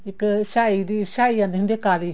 ਇੱਕ ਸਿਹਾਈ ਆਉਂਦੀ ਹੁੰਦੀ ਆ ਕਾਲੀ